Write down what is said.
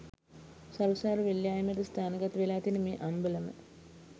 සරුසාර වෙල් යාය මැද ස්ථානගත වෙලා තියෙන මේ අම්බලම